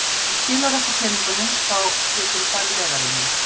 Ef þú skilar okkur peningunum þá geturðu farið leiðar þinnar.